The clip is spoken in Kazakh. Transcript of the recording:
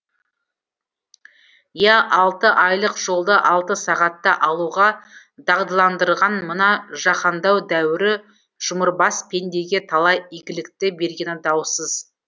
иә алты айлық жолды алты сағатта алуға дағдыландырған мына жаһандану дәуірі жұмырбас пендеге талай игілікті бергені даусыз